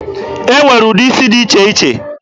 E nwere ụdị isi dị iche iche.